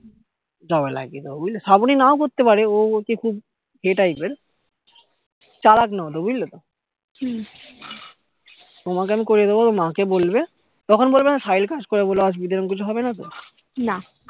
job এ লাগিয়ে দেব শ্রাবনী নাও করতে পারে ও হচ্ছে খুব ইয়ে type এর চালাক নয় অত বুঝলে তো তোমাকে আমি করিয়ে দেব মা কে বলবে তখন বলবে কাজ করি বলে অসুবিধে এরকম কিছু হবে না তো